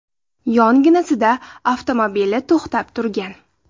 Yonginasida avtomobili to‘xtab turgan.